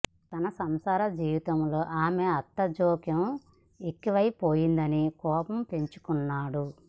తన సంసార జీవితంలో ఆమె అత్త జోక్యం ఎక్కువైపోయిందని కోపం పెంచుకున్నాడు